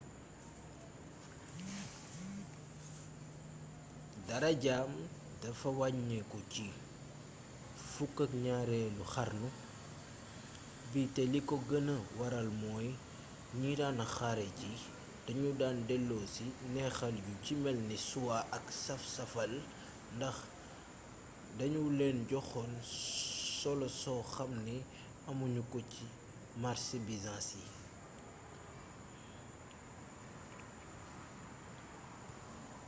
darajaam dafa wàññiku ci 12eelu xarnu bi te li ko gëna waral mooy ñi daan xare ji dañu daan delloosi neexal yu ci melni soie ak saf-safal ndax dañu leen joxoon solo soo xamni amu ñu ko ci marse byzance yi